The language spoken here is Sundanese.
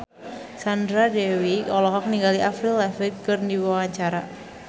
Sandra Dewi olohok ningali Avril Lavigne keur diwawancara